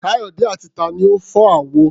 Káyọ̀dé àti ta ni ó fọ́ àwo?